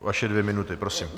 Vaše dvě minuty, prosím.